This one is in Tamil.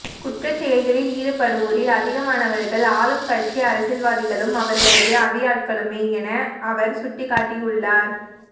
குற்றச் செயல்களில் ஈடுபடுவோரில் அதிகமானவர்கள் ஆளும் கட்சி அரசியல்வாதிகளும் அவர்களது அடியாட்களுமே என அவர் சுட்டிக்காட்டியுள்ளார்